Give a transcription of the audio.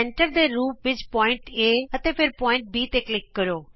ਕੇਂਦਰ ਦੇ ਰੂਪ ਵਿਚ ਬਿੰਦੂ A ਨਾਲ ਅਤੇ ਫਿਰ ਬਿੰਦੂ B ਤੇ ਕਲਿਕ ਕਰੋ